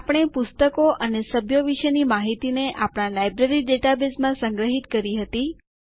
આપણે પુસ્તકો અને સભ્યો વિશેની માહિતીને આપણા લાઈબ્રેરી ડેટાબેઝમાં સંગ્રહિત કરી હતી